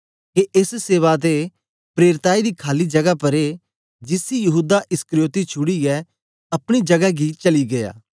के एस सेवा ते प्रेरिताई दी खाली जगा परे जिसी यहूदा इस्करियोती छुड़ीयै अपनी जगै गी चली गीया